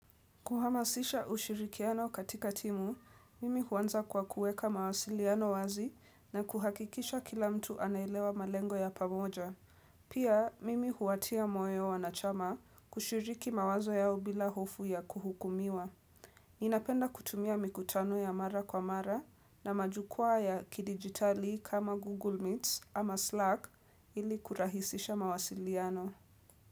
Kuhamasisha ushirikiano katika timu, mimi huanza kwa kuweka mawasiliano wazi na kuhakikisha kila mtu anaelewa malengo ya pamoja. Pia, mimi huwatia moyo wanachama kushiriki mawazo yao bila hofu ya kuhukumiwa. Ninapenda kutumia mikutano ya mara kwa mara na majukwaa ya kidigitali kama Google Meets ama Slack ili kurahisisha mawasiliano.